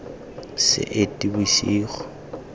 seetebosigo